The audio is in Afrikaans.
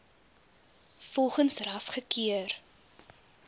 volgens ras gekeur